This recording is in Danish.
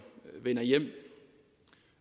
vender hjem